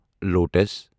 lotus